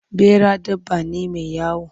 Ɓera dabba ne mai wayo.